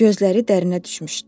Gözləri dərinə düşmüşdü.